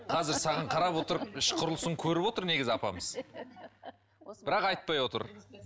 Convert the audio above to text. қазір саған қарап отырып іш құрылысын көріп отыр негізі апамыз бірақ айтпай отыр